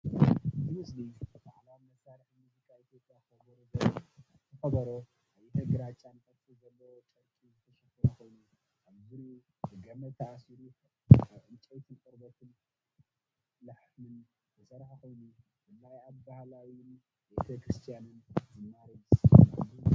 እቲ ስእሊ፡ ባህላዊ መሳርሒ ሙዚቃ ኢትዮጵያ ከበሮ ዘርኢ እዩ። እቲ ከበሮ ቀይሕን ግራጭን ቅርጺ ዘለዎ ጨርቂ ዝተሸፈነ ኮይኑ፡ ኣብ ዙርያኡ ብገመድ ተኣሲሩ ይርከብ። ካብ ዕንጨይትን ቆርበት ላሕምን ዝስራሕ ኮይኑ፡ ብፍላይ ኣብ ባህላዊን ቤተ-ክርስትያንን ዝማሬ ዝስመዐሉ እዩ።